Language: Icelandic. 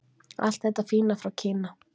Allt þetta fína frá Kína!